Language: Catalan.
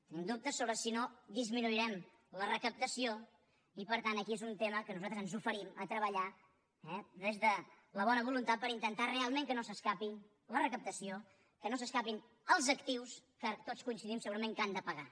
tenim dubtes sobre si no disminuirem la recaptació i per tant aquí és un tema que nosaltres ens oferim a treballar eh des de la bona voluntat per intentar realment que no s’escapi la recaptació que no s’escapin els actius que tots coincidim segurament que han de pagar